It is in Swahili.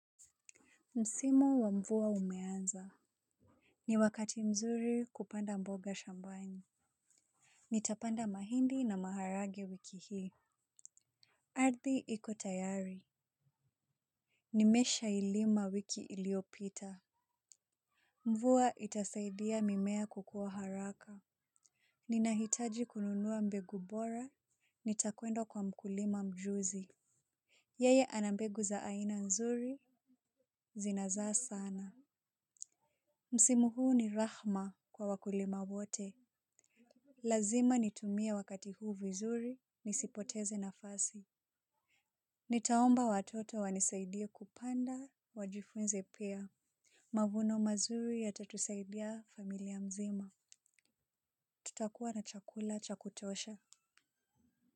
Msimu wa mvua umeanza. Ni wakati mzuri kupanda mboga shambani. Nitapanda mahindi na maharagwe wiki hii. Ardhi iko tayari nimeshailima wiki iliyopita. Mvua itasaidia mimea kukua haraka. Ninahitaji kununua mbegu bora nitakwenda kwa mkulima mjuzi. Yeye ana mbegu za aina nzuri zinazaa sana. Msimu huu ni rahma kwa wakulima wote. Lazima nitumie wakati huu vizuri nisipoteze nafasi. Nitaomba watoto wanisaidie kupanda wajifunze pia. Mavuno mazuri yatatusaidia familia mzima. Tutakuwa na chakula cha kutosha.